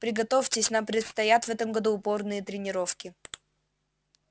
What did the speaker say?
приготовьтесь нам предстоят в этом году упорные тренировки